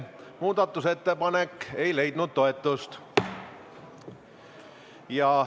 Muudatusettepanek ei leidnud toetust.